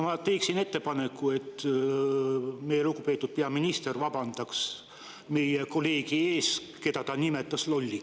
Ma teen ettepaneku, et lugupeetud peaminister vabandaks meie kolleegi ees, keda ta nimetas lolliks.